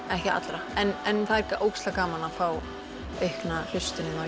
ekki allra en það er ógeðslega gaman að fá aukna hlustun á